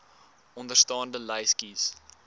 onderstaande lys kies